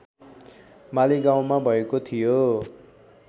मालीगाउँमा भएको थियो